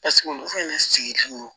Paseke olu fɛnɛ sigilen do